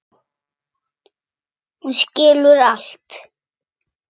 Hún skilur allt.